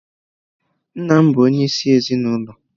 Nna bụ onyeisi ezinụlọ.